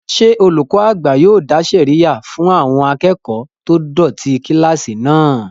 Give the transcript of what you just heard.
Ṣé olùkọ́ àgbà yóò dá sẹ̀ríyà fún àwọn akẹ́kọ̀ọ́ tó dọ̀tí kílásì náà?